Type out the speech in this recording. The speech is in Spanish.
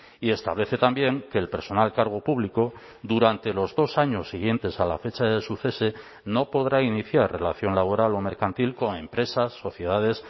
y establece también que el personal cargo público durante los dos años siguientes a la fecha de su cese no podrá iniciar relación laboral o mercantil con empresas sociedades